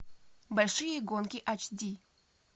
большие гонки ач ди